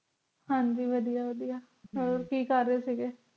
ਹਾਂਜੀ ਵਾਦੀਆਂ ਵਾਦੀਆਂ ਹੋਰ ਕਿ ਕਰ ਰਹੇ ਸੀ